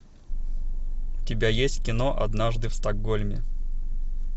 у тебя есть кино однажды в стокгольме